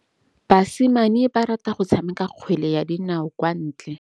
Basimane ba rata go tshameka kgwele ya dinaô kwa ntle.